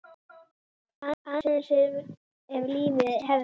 Aðeins ef lífið hefði.?